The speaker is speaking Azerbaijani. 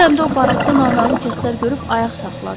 Bu dəmdə o barakda naməlum kəslər görüb ayaq saxladı.